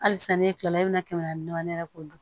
Hali sisan ne kilala e bɛna kɛmɛ naani ne yɛrɛ k'o dɔn